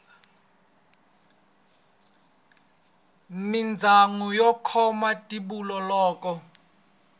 mindyangu yo khoma timbilu loko